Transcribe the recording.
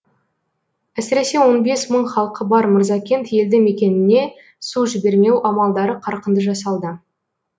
әсіресе он бес мың халқы бар мырзакент елді мекеніне су жібермеу амалдары қарқынды жасалды